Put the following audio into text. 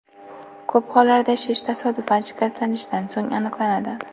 Ko‘p hollarda shish tasodifan shikastlanishdan so‘ng aniqlanadi.